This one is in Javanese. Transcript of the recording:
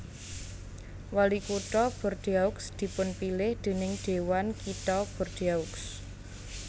Walikutha Bordeaux dipunpilih déning Dhéwan Kitha Bordeaux